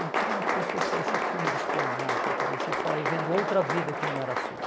Então tinha umas coisas que pareciam filme de espionagem, parecia que você estava vivendo outra vida que não era a sua.